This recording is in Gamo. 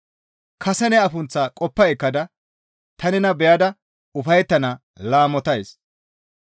Kase ne afunththaa qoppa ekkada ta nena beyada ufayettana laamotays.